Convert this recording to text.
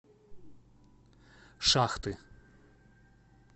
шахты